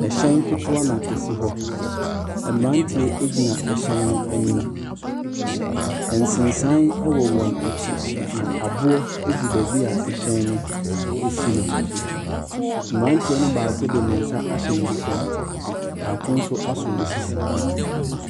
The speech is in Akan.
Ɛhyɛn ketewa na ɛsi hɔ. Mmeranteɛ gyina ɛhyɛn no anim. Nsensan wɔ wɔn akyi, na aboɔ gu baabi a ɛhyɛn no si no. mmerantew no mu baako de ne nsa ahyɛ ne bɔtɔ mu. Baako nso asɔ ne sisi.